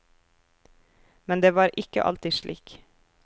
Men det var ikke alltid slik.